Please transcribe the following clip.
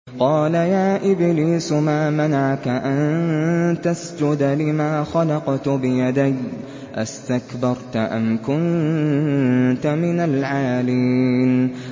قَالَ يَا إِبْلِيسُ مَا مَنَعَكَ أَن تَسْجُدَ لِمَا خَلَقْتُ بِيَدَيَّ ۖ أَسْتَكْبَرْتَ أَمْ كُنتَ مِنَ الْعَالِينَ